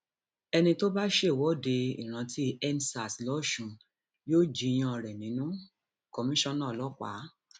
ẹni tó bá ṣèwọde ìrántíendsars lọsùn yóò jiyàn rẹ nínú kọmíṣánná ọlọpàá